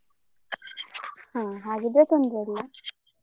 ಹಾ ಹಾಗಿದ್ರೆ ತೊಂದ್ರೆ ಇಲ್ಲಾ.